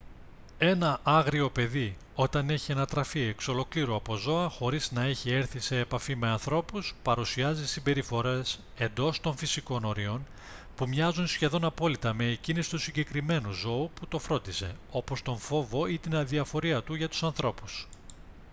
ένα άγριο παιδί όταν έχει ανατραφεί εξ ολοκλήρου από ζώα χωρίς να έχει έρθει σε επαφή με ανθρώπους παρουσιάζει συμπεριφορές εντός των φυσικών ορίων που μοιάζουν σχεδόν απόλυτα με εκείνες του συγκεκριμένου ζώου που το φρόντισε όπως τον φόβο ή την αδιαφορία του για τους ανθρώπους